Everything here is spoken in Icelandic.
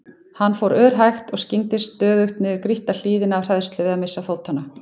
Hann fór örhægt og skyggndist stöðugt niður grýtta hlíðina af hræðslu við að missa fótanna.